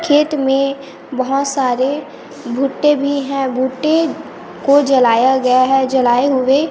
खेत में बोहोत सारे भुट्टे भी है भुट्टे को जलाया गया है जलाए हुए--